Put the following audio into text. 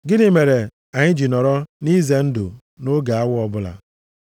Gịnị mere anyị ji nọrọ nʼize ndụ nʼoge awa ọbụla?